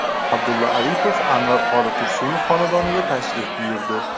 Abdulla Aripov Anvar qori Tursunov xonadoniga tashrif buyurdi.